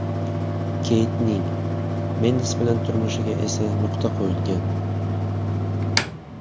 Keytning, Mendes bilan turmushiga esa nuqta qo‘yilgan.